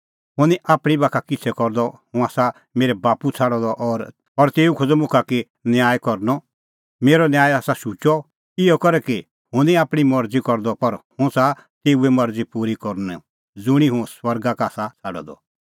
हुंह निं आपणीं बाखा किछ़ै करदअ हुंह आसा मेरै बाप्पू छ़ाडअ द और तेऊ खोज़अ मुखा कि किहअ न्याय करनअ मेरअ न्याय आसा शुचअ इहअ करै कि हुंह निं आपणीं मरज़ी करदअ पर हुंह च़ाहा तेऊए मरज़ी पूरी करनअ ज़ुंणी हुंह स्वर्गा का आसा छ़ाडअ द